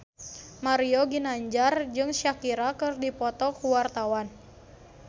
Mario Ginanjar jeung Shakira keur dipoto ku wartawan